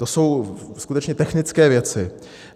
To jsou skutečně technické věci.